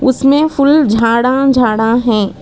उसमे फुल झाड़ा झाड़ा है।